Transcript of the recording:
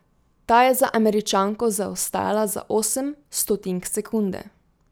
Ta je za Američanko zaostala za osem stotink sekunde.